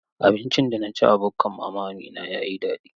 Abincin da na ci a bukkan Mama Amina ya yi daɗi.